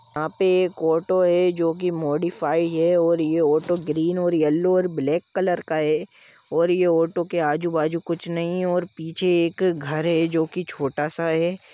यहाँ पे एक ऑटो है जो की मॉडिफाई है और यह ये ओटो ग्रीन और येलो और ब्लैक कलर का है और ये ऑटो के आजु बाजु कुछ नहीं है और पीछे एक घर है जो की छोटा सा है।